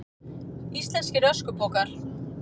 Íslenskir öskupokar.